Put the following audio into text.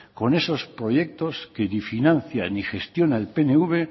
con esos proyectos que ni financia ni gestiona el pnv